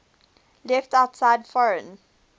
left outside foreign